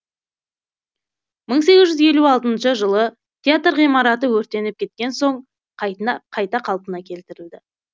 мың сегіз жүз елу алтыншы жылы театр ғимараты өртеніп кеткен соң қайта қалпына келтірілді